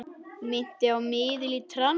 Minnti á miðil í trans.